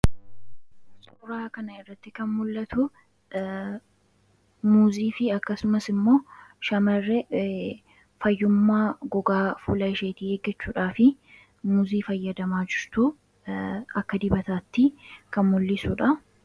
suuraa kana irratti kan mul'atu muuzii fi akkasumas immoo shamarre fayyummaa gogaa fula isheetii eeggachuudhaa fi muzii fayyadamaajustuu akka dibataatti kan mul'isuudha